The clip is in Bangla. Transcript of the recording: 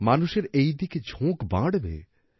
মানুষের এই দিকে ঝোঁক বাড়বে